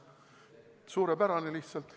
Lihtsalt suurepärane!